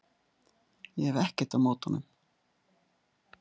Ég hef ekkert á móti honum.